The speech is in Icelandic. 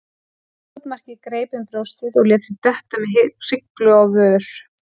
Skotmarkið greip um brjóstið og lét sig detta með hryglu á vör.